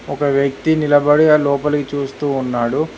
ఒక వ్యక్తి నిలబడే లోపలికి చూస్తూ ఉన్నాడు